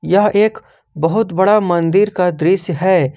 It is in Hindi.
यह एक बहुत बड़ा मंदिर का दृश्य है।